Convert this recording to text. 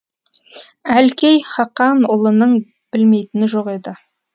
әлкей хақанұлының білмейтіні жоқ еді